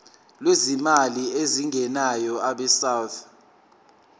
lwezimali ezingenayo abesouth